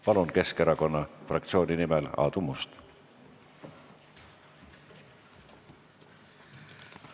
Palun Keskerakonna fraktsiooni nimel Aadu Must!